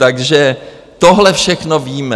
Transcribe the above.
Takže tohle všechno víme.